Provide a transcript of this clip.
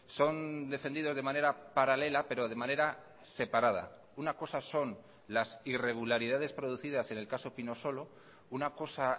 son defendidos de manera paralela pero de manera separada una cosa son las irregularidades producidas en el caso pinosolo una cosa